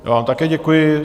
Já vám také děkuji.